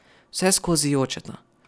Vseskozi jočeta.